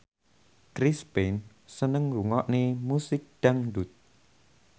Chris Pane seneng ngrungokne musik dangdut